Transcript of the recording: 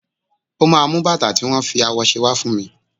Ó máa mú bàtà tí wón fi awọ ṣe wá fún mi.